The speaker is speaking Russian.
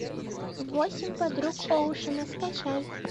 восемь подруг оушена скачай